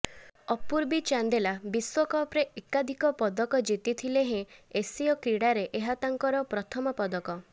ଅପୂର୍ବୀ ଚାନ୍ଦେଲା ବିଶ୍ୱକପ୍ରେ ଏକାଧିକ ପଦକ ଜିତିଥିଲେ ହେଁ ଏସୀୟ କ୍ରୀଡ଼ାରେ ଏହା ତାଙ୍କର ପ୍ରଥମ ପଦକ